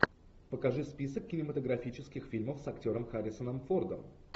покажи список кинематографических фильмов с актером харрисоном фордом